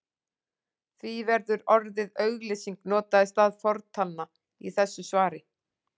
Því verður orðið auglýsing notað í stað fortalna í þessu svari.